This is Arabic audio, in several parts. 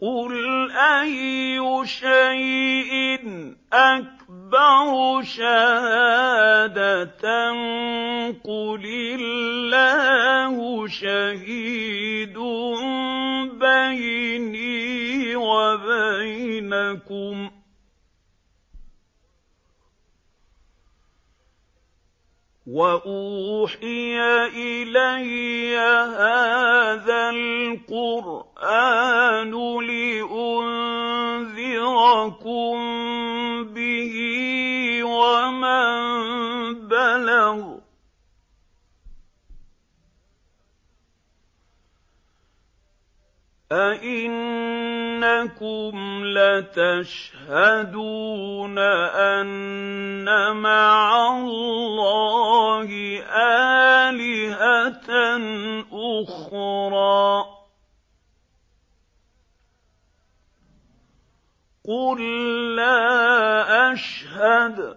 قُلْ أَيُّ شَيْءٍ أَكْبَرُ شَهَادَةً ۖ قُلِ اللَّهُ ۖ شَهِيدٌ بَيْنِي وَبَيْنَكُمْ ۚ وَأُوحِيَ إِلَيَّ هَٰذَا الْقُرْآنُ لِأُنذِرَكُم بِهِ وَمَن بَلَغَ ۚ أَئِنَّكُمْ لَتَشْهَدُونَ أَنَّ مَعَ اللَّهِ آلِهَةً أُخْرَىٰ ۚ قُل لَّا أَشْهَدُ ۚ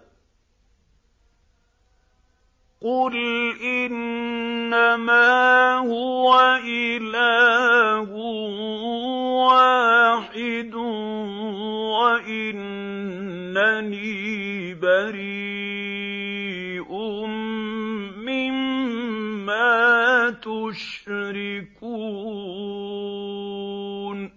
قُلْ إِنَّمَا هُوَ إِلَٰهٌ وَاحِدٌ وَإِنَّنِي بَرِيءٌ مِّمَّا تُشْرِكُونَ